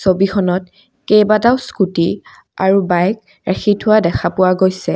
ছবিখনত কেইবাটাও স্কুটি আৰু বাইক ৰাখি থোৱা দেখা পোৱা গৈছে।